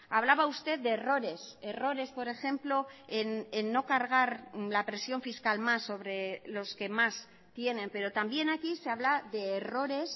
hablaba usted de errores errores por ejemplo en no cargar la presión fiscal más sobre los que más tienen pero también aquí se habla de errores